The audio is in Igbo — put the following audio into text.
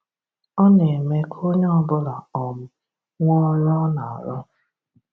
Ọ na-eme ka onye ọbụla um nwee ọrụ ọ na arụ